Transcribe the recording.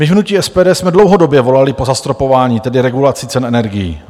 My v hnutí SPD jsme dlouhodobě volali po zastropování, tedy regulaci cen energií.